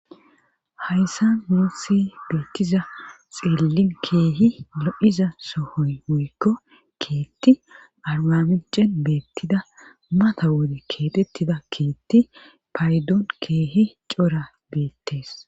hayssa muusi beettiza xeellin keehi lo7iza sohoy moykko keetti argamicen beettida mata wode keetettida keetti paydoon keehi cora beettes